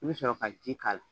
I bɛ sɔrɔ ka ji k'a la.